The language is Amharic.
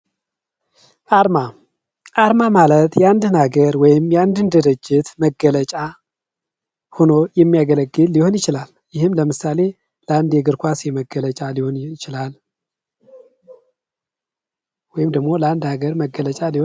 አርማ አንድን ድርጅት፣ ምርት ወይም ተቋም የሚወክል ልዩ ምልክት ወይም ንድፍ ሲሆን በቀላሉ የሚታወቅ መሆን ይኖርበታል።